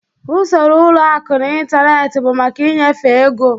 Usoro ụlọ akụ n'ịntanetị bụ maka ịnyefe ego.